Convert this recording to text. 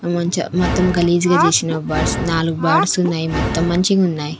ఆ మంచు మొత్తం గలీజు గ చేసిన బర్డ్స్ నాలుగు బర్డ్స్ ఉన్నాయి మొత్తం మంచిగా ఉన్నాయి.